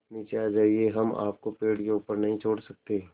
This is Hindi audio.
आप नीचे आ जाइये हम आपको पेड़ के ऊपर नहीं छोड़ सकते